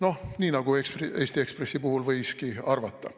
Noh, nii nagu Eesti Ekspressi puhul võiski arvata.